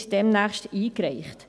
Sie wird demnächst eingereicht.